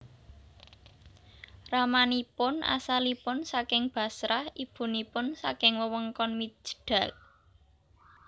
Ramanipun asalipun saking Bashrah ibunipun saking wewengkon Mijdal